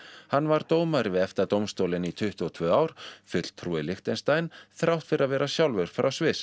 hann var dómari við EFTA dómstólinn í tuttugu og tvö ár fulltrúi Liechtenstein þrátt fyrir að vera sjálfur frá Sviss